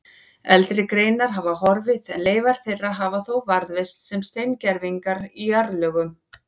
Eldri greinar hafa horfið en leifar þeirra hafa þó varðveist sem steingervingar í jarðlögum.